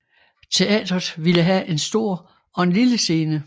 Teatret ville have en stor og en lille scene